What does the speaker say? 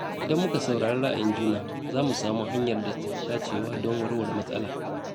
Idan muka saurari ra’ayin juna, za mu samu hanyar da ta fi dacewa don warware matsala.